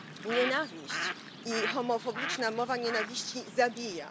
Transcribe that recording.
Nienawiść i homofoniczna mowa nienawiści zabija.